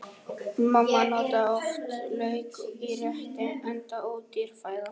Mamma notaði oft lauk í rétti, enda ódýr fæða.